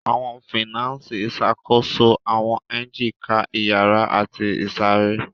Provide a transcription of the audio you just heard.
Awọn finasi išakoso awọn engine ká iyara ati isare.